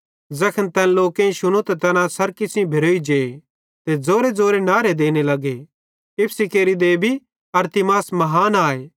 ज़ैखन तैन लोकेईं शुनू त तैना सरकी सेइं भेरोई जे ते ज़ोरेज़ोरे नहरे देने लगे इफिसी केरि देबी अरतिमिस महान आए